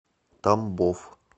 тамбов